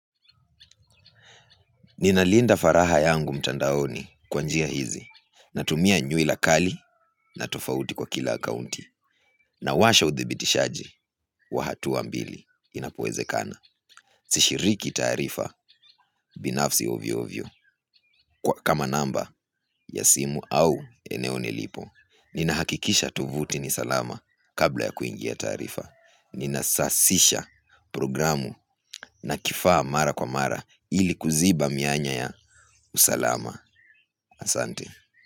Ninalinda faraha yangu mtandaoni kwanjia hizi. Natumia nyui lakali na tofauti kwa kila kaunti. Nawasha uthibitishaji wa hatua mbili inapowezekana. Sishiriki tarifa binafsi ovyo ovyo kwa kama namba ya simu au eneo nilipo. Nina hakikisha tuvuti ni salama kabla ya kuingia taarifa. Nina sasisha programu na kifaa mara kwa mara ili kuziba mianya ya usalama. Asante.